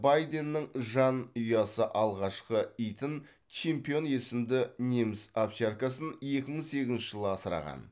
байденнің жанұясы алғашқы итін чемпион есімді неміс овчаркасын екі мың сегізінші жылы асыраған